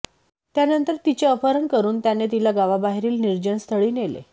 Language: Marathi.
त्यानंतर तिचे अपहरण करून त्याने तिला गावाबाहेरील निर्जनस्थळी नेले